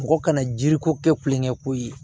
Mɔgɔ kana jiri ko kɛ kulonkɛ ko ye